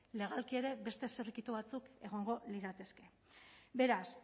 legalki ere beste zirrikitu batzuk egongo lirateke beraz